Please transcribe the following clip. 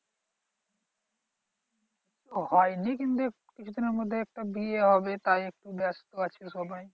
হয়নি কিন্তু কিছু দিনের মধ্যে একটা বিয়ে হবে তাই একটু ব্যাস্ত আছে সবাই